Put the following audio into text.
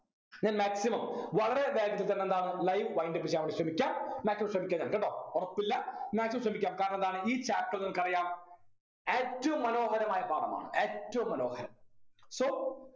ഞാൻ maximum വളരെ വേഗത്തിൽ തന്നെ എന്താണ് live wind up ചെയ്യാൻ വേണ്ടി ശ്രമിക്കാം maximum ശ്രമിക്കാം ഞാൻ കേട്ടോ ഉറപ്പില്ല maximum ശ്രമിക്കാം കാരണന്താണ് ഈ chapter നിങ്ങക്കറിയാം ഏറ്റവും മനോഹരമായ പാഠമാണ് ഏറ്റവും മനോഹരം so